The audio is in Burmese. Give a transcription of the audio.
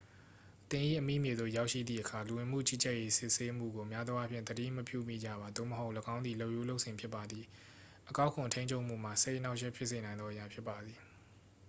သင်၏အမိမြေသို့ရောက်ရှိသည့်အခါ လူဝင်မှုကြီးကြပ်ရေးစစ်ဆေးမှုကို များသောအားဖြင့် သတိမပြုမိကြပါ သို့မဟုတ် ၎င်းသည် လုပ်ရိုးလုပ်စဉ်ဖြစ်ပါသည် အကောက်ခွန်ထိန်းချုပ်မှုမှာ စိတ်အနှောင့်အယှက်ဖြစ်စေနိုင်သောအရာဖြစ်ပါသည်